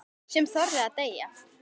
Sem þorði að deyja!